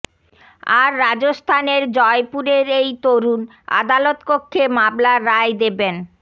আর রাজস্থানের জয়পুরের এই তরুণ আদালত কক্ষে মামলার রায় দেবেন